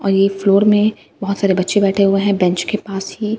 और ये फ्लोर में बहुत सारे बच्चे बैठे हुए हैं बेंच के पास ही।